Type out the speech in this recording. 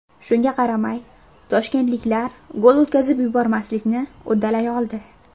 Shunga qaramay toshkentliklar gol o‘tkazib yubormaslikni uddalay oldi.